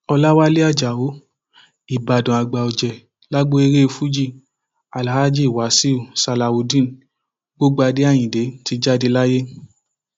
ọlàwálẹ ajáò ìbàdàn àgbà ọjẹ lágbo eré fuji alhaji wasaiu salawudeen gbọgbádé ayinde ti jáde láyé